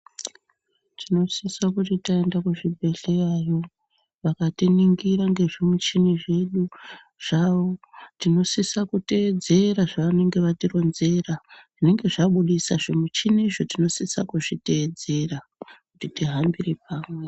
Tinosise kuti taenda kuzvibhedhlerayo vakatiningira ngezvimichini zvavo tinosise kuteedzera zvavanenge vatironzera zvinenge zvabudisa zvimichinizvo tinosise kuzviteedzera kuti tihambire pamwe.